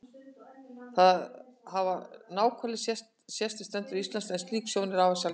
Þó hafa náhvalir sést við strendur Íslands en slík sjón er afar sjaldgæf.